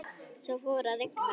Svo fór að rigna.